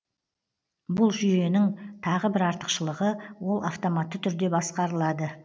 бұл жүйенеің тағы бір артықшылығы ол автоматты түрде басқарылады